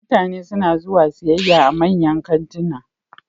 Mutane suna zuwa siyayya a manyan kantuna